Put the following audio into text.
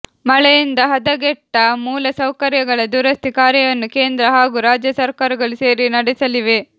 ಮಳೆಯಿಂದ ಹದಗೆಟ್ಟ ಮೂಲಸೌಕರ್ಯಗಳ ದುರಸ್ತಿ ಕಾರ್ಯವನ್ನು ಕೇಂದ್ರ ಹಾಗೂ ರಾಜ್ಯ ಸರ್ಕಾರಗಳು ಸೇರಿ ನಡೆಸಲಿವೆ